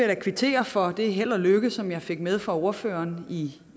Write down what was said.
da kvittere for det held og lykke som jeg fik med fra ordføreren i